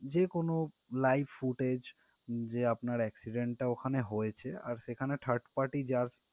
যেকোনো live footage যে আপনার accident টা ওখানে হয়েছে আর সেখানে third party যার